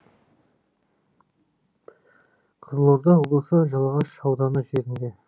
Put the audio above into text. қызылорда облысы жалағаш ауданы жерінде